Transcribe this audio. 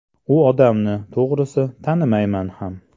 U odamni, to‘g‘risi, tanimayman ham.